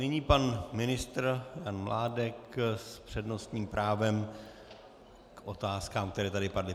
Nyní pan ministr Jan Mládek s přednostním právem k otázkám, které tady padly.